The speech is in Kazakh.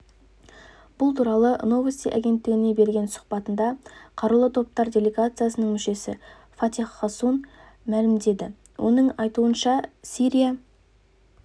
бұл туралы новости агенттігіне берген сұхбатында қарулы топтар делегациясының мүшесі фатех хассун мәлімдеді оның айтуынша сирия